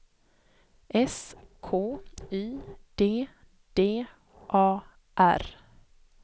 S K Y D D A R